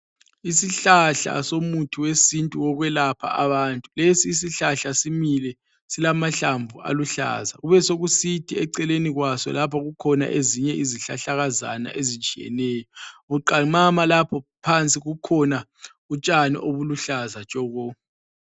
Isihlahla somuthi wesintu wokwelapha abantu. Lesi isihlahla simile, silamahlamvu aluhlaza. Kubesekusithi eceleni kwaso lapha kukhona ezinye izihlahlakazana ezitshiyeneyo. Buqamama lapho phansi kukhona utshani obuluhlaza tshoko.